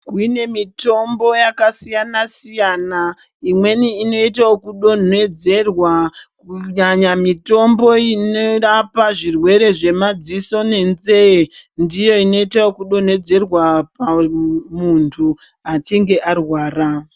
Kune mitombo yakasiyana siyana imweni inoite kudonhodzerwa kunyanya mitombo inorapa zvirwere zvemadziso nenzee ndiyo inoita ekudonhedzerwa pamuntu achinge arwara.